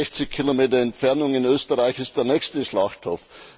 In 60 Kilometer Entfernung in Österreich ist der nächste Schlachthof.